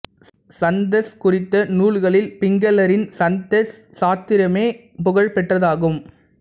சந்தஸ் குறித்த நூல்களில் பிங்களரின் சந்தஸ் சாஸ்திரமே புகழ் பெற்றதாகும்